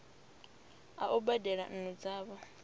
a u badela nnu dzavho